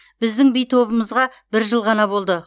біздің би тобымызға бір жыл ғана болды